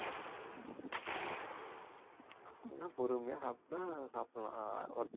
அப்படின்னா பொறுமையா சாப்பிட்டா சாப்பிடலாம் அஹ் worth